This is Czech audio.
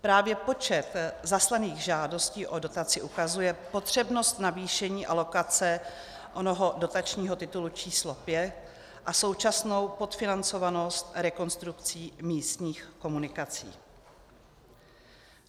Právě počet zaslaných žádostí o dotaci ukazuje potřebnost navýšení alokace onoho dotačního titulu č. 5 a současnou podfinancovanost rekonstrukcí místních komunikací.